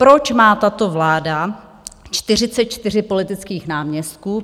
Proč má tato vláda 44 politických náměstků?